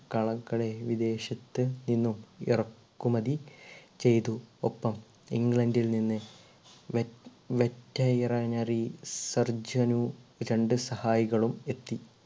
കളകളെ വിദേശത്തു നിന്നും ഇറക്കുമതി ചെയ്‌തു ഒപ്പം england ൽ നിന്ന് veterinary surgeon ഉ രണ്ട് സഹായികളും എത്തി